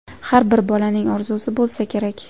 Har bir bolaning orzusi bo‘lsa kerak.